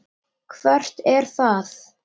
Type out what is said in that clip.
Hvert er það?